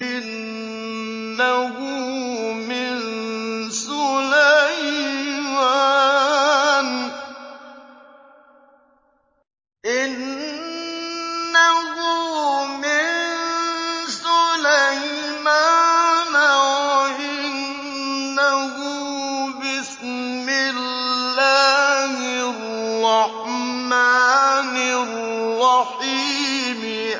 إِنَّهُ مِن سُلَيْمَانَ وَإِنَّهُ بِسْمِ اللَّهِ الرَّحْمَٰنِ الرَّحِيمِ